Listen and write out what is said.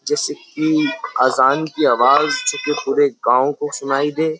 जैसे की अजान की आवाज पुरे गांव को सुनाई दे।